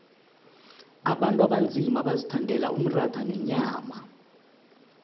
abantu abanzima bazithandela umratha nenyama